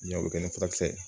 Ɲɔ bi kɛ ni furakisɛ ye